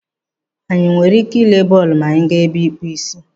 Anyị nwere ike ịle bọọlụ ma anyị gaa ebe ịkpụ ísí?